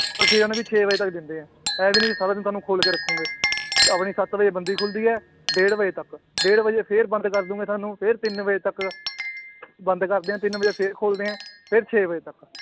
ਛੇ ਵਜੇ ਤੱਕ ਦਿੰਦੇ ਹੈ ਇਹ ਵੀ ਨੀ ਵੀ ਸਾਰਾ ਦਿਨ ਤੁਹਾਨੂੰ ਖੋਲ ਕੇ ਰੱਖੋਗੇ ਆਪਣੀ ਸੱਤ ਵਜੇ ਬੰਦੀ ਖੁੱਲਦੀ ਹੈ ਡੇਢ ਵਜੇ ਤੱਕ, ਡੇਢ ਵਜੇ ਫਿਰ ਬੰਦ ਕਰ ਦਓਗੇ ਤੁਹਾਨੂੰ ਫਿਰ ਤਿੰਨ ਵਜੇ ਤੱਕ ਬੰਦ ਕਰਦੇ ਹੈ ਤਿੰਨ ਵਜੇ ਫਿਰ ਖੋਲਦੇ ਹੈ ਫਿਰ ਛੇ ਵਜੇ ਤੱਕ